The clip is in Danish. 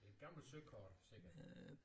Et gammelt søkort sikkert